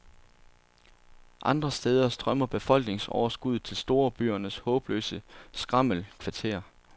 Andre steder strømmer befolkningsoverskuddet til storbyernes håbløse skrammelkvarterer.